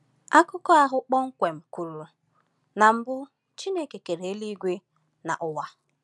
Akụkọ ahụ kpọmkwem kwuru: “Na mbu Chineke kere eluigwe na ụwa.”